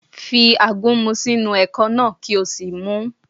Fi àgúnmu sínú ẹ̀kọ náà kí o sì mu ún